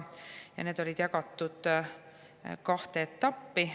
olid jagatud kahte etappi.